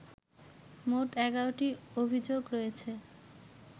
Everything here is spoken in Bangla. মোট ১১টি অভিযোগ রয়েছে